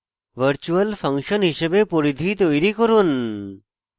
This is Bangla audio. virtual ফাংশন হিসাবে পরিধি তৈরী করুন